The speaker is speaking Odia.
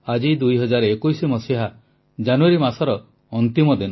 ଆଜି 2021 ମସିହା ଜାନୁଆରୀ ମାସର ଅନ୍ତିମ ଦିନ